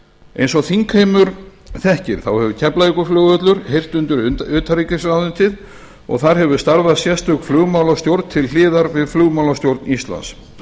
eins og þingheimur þekkir þá hefur keflavíkurflugvöllur heyrt undir utanríkisráðuneytið og þar hefur starfað sérstök flugmálastjórn til hliðar við flugmálastjórn íslands